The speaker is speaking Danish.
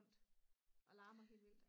rundt og larmer helt vildt